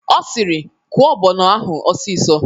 O siri "Kwọọ ọgbọnọ ahụ ọsịsọ!"